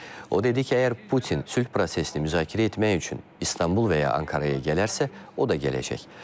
O dedi ki, əgər Putin sülh prosesini müzakirə etmək üçün İstanbul və ya Ankaraya gələrsə, o da gələcək.